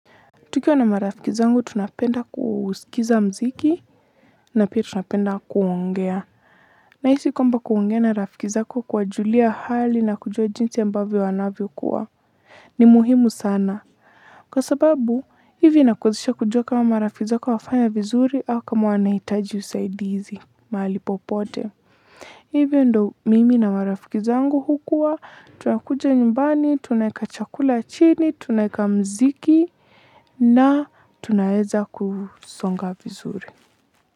Tukiwa na marafiki zangu tunapenda kusikiza mziki na pia tunapenda kuongea. Nahisi kwamba kuongea na marafiki zako kuwajulia hali na kujua jinsi ambavyo wanavyokuwa. Ni muhimu sana. Kwa sababu, hivi inakuhusisha kujua kama marafiki zako wafanya vizuri au kama wanahitaji usaidizi mahali popote. Hivyo ndo mimi na marafiki zangu hukuwa, tunakuja nyumbani, tunaeka chakula chini, tunaeka mziki na tunaeza kusonga vizuri.